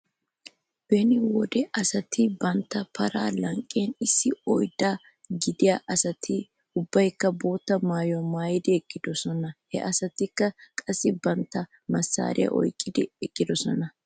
Beni wode asati bantta paraa lanqqen issi oyddaa gidiyaa asati ubbaykka bootta maayuwaa maayidi eqqidosona . He asatikka qassi bantta massaariyaa oyqqidi eqqidosona.